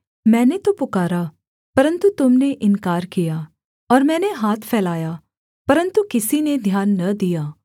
मैंने तो पुकारा परन्तु तुम ने इन्कार किया और मैंने हाथ फैलाया परन्तु किसी ने ध्यान न दिया